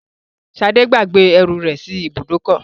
Ṣadé gbàgbé ẹrù rẹ̀ sí ibùdókọ̀.